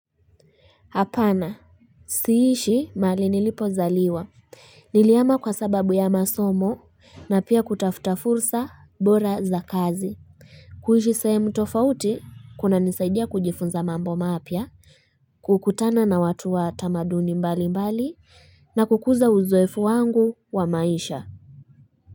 Hapana siishi mahali nilipozaliwa nilihama kwa sababu ya masomo na pia kutafuta fursa bora za kazi kuishi sahemu tofauti kunanisaidia kujifunza mambo mapya kukutana na watu wa tamaduni mbali mbali na kukuza uzowefu wangu wa maisha.